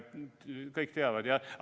Kõik teavad, jah?